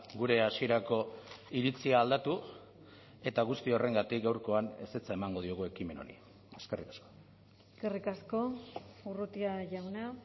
gure hasierako iritzia aldatu eta guzti horrengatik gaurkoan ezetza emango diogu ekimen honi eskerrik asko eskerrik asko urrutia jauna